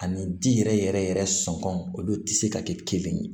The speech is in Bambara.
Ani ji yɛrɛ yɛrɛ sɔngɔ olu tɛ se ka kɛ kelen ye